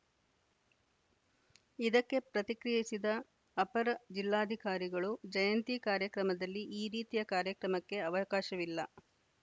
ಇದಕ್ಕೆ ಪ್ರತಿಕ್ರಿಯಿಸಿದ ಅಪರ ಜಿಲ್ಲಾಧಿಕಾರಿಗಳು ಜಯಂತಿ ಕಾರ್ಯಕ್ರಮದಲ್ಲಿ ಈ ರೀತಿಯ ಕಾರ್ಯಕ್ರಮಕ್ಕೆ ಅವಕಾಶವಿಲ್ಲ